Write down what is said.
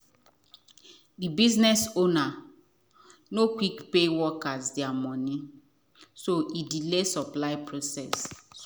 the business ownernor quick pay workers there money so e delay supply process